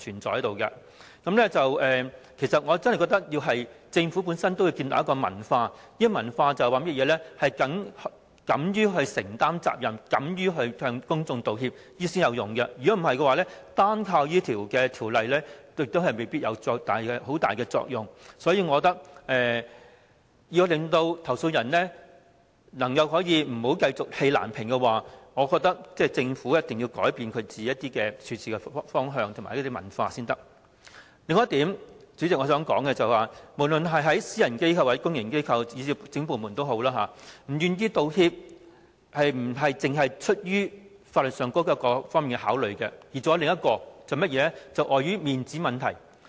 所以，我切實認為政府要建立一種文化，就是敢於承擔責任，敢於向公眾道歉的文化，否則單靠立法將未必能發揮很大作用。因此，我認為要令投訴人不再氣難平，政府便要改變其處事方針與文化。主席，我想提出的另一點，是不論在私人機構、公營機構還是政府部門，不願意道歉並非只出於法律上的考慮，還有另一原因，就是礙於面子問題。